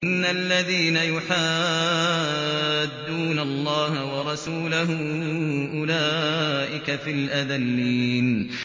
إِنَّ الَّذِينَ يُحَادُّونَ اللَّهَ وَرَسُولَهُ أُولَٰئِكَ فِي الْأَذَلِّينَ